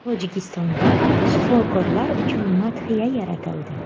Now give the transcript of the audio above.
Tojikistonda shifokorlar uchun madhiya yaratildi.